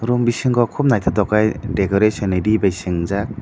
room bisingo kub nythok kei decoration ni ree bi swinjaak.